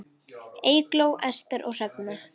Eygló, Ester og Hrefna.